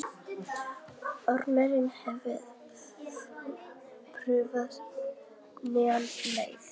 Ormar, hefur þú prófað nýja leikinn?